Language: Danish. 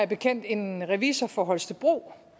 bekendt en revisor fra holstebro